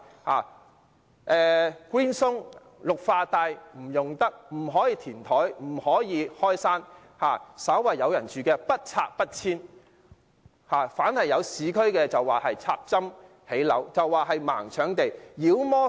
他們聲稱綠化帶不能用；亦不可以填海、開山；稍為有人居住的地方都不遷不拆；並把市區發展說成"插針建屋"、"盲搶地"。